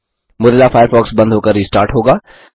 Mozilla Firefox बंद होकर restart होगा